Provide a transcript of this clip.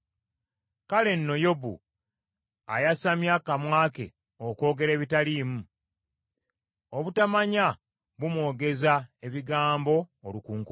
Kale nno Yobu ayasamya akamwa ke okwogera ebitaliimu; obutamanya bumwogeza ebigambo olukunkumuli.”